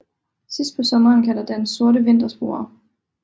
Sidst på sommeren kan der dannes sorte vintersporer